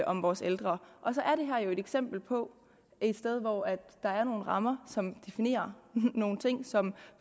om vores ældre og så er det her jo et eksempel på et sted hvor der er nogle rammer som definerer nogle ting som